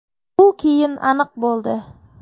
Bu keyin aniq bo‘ldi.